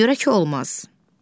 Ona görə ki olmaz.